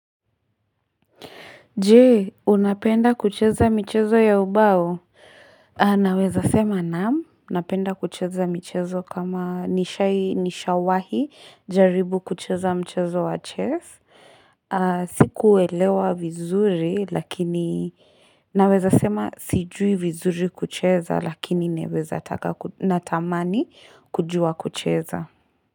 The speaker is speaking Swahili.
Je, unapenda kucheza michezo ya ubao? Naweza sema naam, napenda kucheza michezo kama nishawahi jaribu kucheza mchezo wa chess. Sikuelewa vizuri, lakini naweza sema sijui vizuri kucheza lakini naweza taka, natamani kujua kucheza.